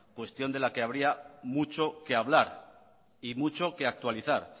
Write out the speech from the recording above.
cuestión de la que habría mucho que hablar y mucho que actualizar